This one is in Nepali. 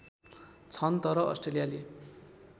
छन् तर अस्ट्रेलियाली